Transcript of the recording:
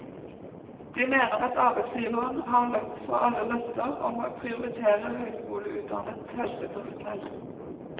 De mener at arbeidsgiveren har løpt fra alle løfter om å prioritere høyskoleutdannet helsepersonell.